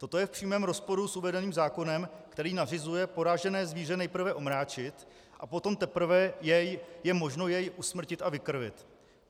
Toto je v přímém rozporu s uvedeným zákonem, který nařizuje poražené zvíře nejprve omráčit a potom teprve je možno je usmrtit a vykrvit.